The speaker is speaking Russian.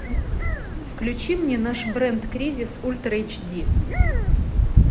включи мне наш бренд кризис ультра эйч ди